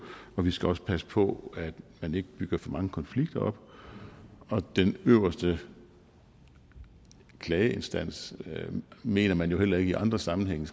og vi skal også passe på at man ikke bygger for mange konflikter op den øverste klageinstans mener man jo heller ikke i andre sammenhænge